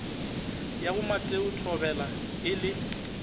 ya bomateo thobela e le